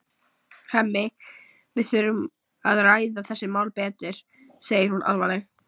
Hemmi, við þurfum að ræða þessi mál betur, segir hún alvarleg.